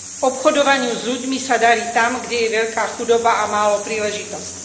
Obchodovaniu s ľuďmi sa darí tam, kde je veľká chudoba a málo príležitostí.